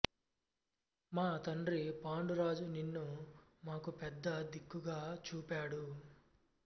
మా తండ్రి పాండురాజు నిన్ను మాకు పెద్ద దిక్కుగా చూపాడు